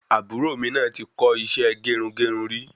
Àbúrò mi náà ti kọ isẹ́ gerungerun rí